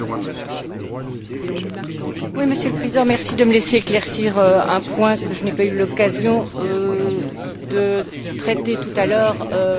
Monsieur le Président, merci de me laisser éclaircir un point que je n'ai pas eu l'occasion de traiter tout à l'heure de manière persuasive apparemment.